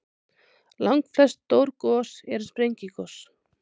Langflest stór gos eru sprengigos.